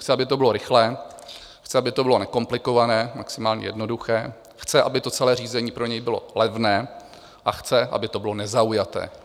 Chce, aby to bylo rychlé, chce, aby to bylo nekomplikované, maximálně jednoduché, chce, aby to celé řízení pro něj bylo levné, a chce, aby to bylo nezaujaté.